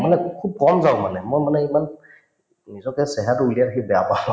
মানে খুব কম যাওঁ মানে মই মানে ইমান নিজকে চেহেৰাতো উলিয়াই থাকি বেয়া পাওঁ